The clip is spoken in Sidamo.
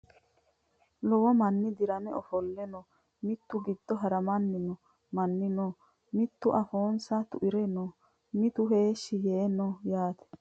Lowo manni dirame ofolle no. Mitu giddo haramanni no manni no. Mitu afoonsa tuire no. Mitu heeshshi yee no yaate.